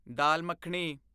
dal makhani